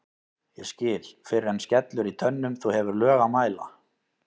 ég skil fyrr en skellur í tönnum þú hefur lög að mæla